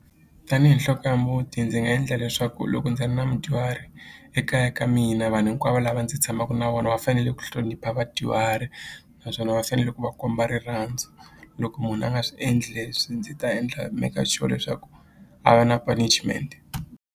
Tanihi nhloko ya muti ndzi nga endla leswaku loko ndzi ri na mudyuhari ekaya ka mina vanhu hinkwavo lava ndzi tshamaku na vona va fanele ku hlonipha vadyuhari naswona va fanele ku va komba rirhandzu loko munhu a nga swi endli swi ndzi ta endla maker sure leswaku a va na punishment.